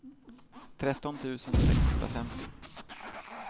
tretton tusen sexhundrafemtio